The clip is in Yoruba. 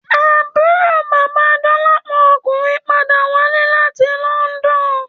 Àbúrò bàba Dolapo ọkùnrin padà wálé láti London